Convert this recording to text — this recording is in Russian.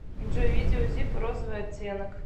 джой видео зиппо розовый оттенок